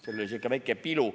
Seal oli sihuke väike pilu.